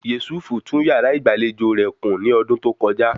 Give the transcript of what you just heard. Yésúfù tún yàrá ìgbàlejò rẹ̀ kùn ní ọdún tó kọjá